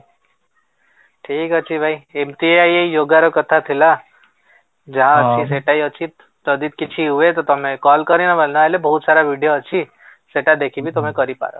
ଠିକ ଅଛି ଭାଇ, ଏମିତିଆ ହିଁ ଏଇ yogaର କଥା ଥିଲା, ଯାହା ଅଛି ସେଟା ହିଁ ଅଛି, ଯଦି କିଛି ହୁଏ ତ ତମେ call କରିବ ନହେଲେ ବହୁତ ସାରା ଭିଡ଼ିଓ ଅଛି, ସେଟା ଦେଖିକି ତମେ କରିପାର